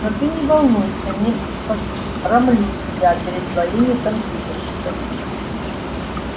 но ты не волнуйся не посрамлю тебя перед твоими компьютерщиками